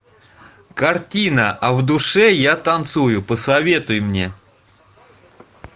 картина а в душе я танцую посоветуй мне